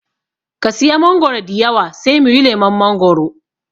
Ka siya mangoro diyawa sai muyi lemon mangoro.